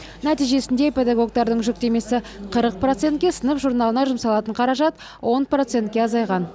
нәтижесінде педагогтердің жүктемесі қырық процентке сынып журналына жұмсалатын қаражат он процентке азайған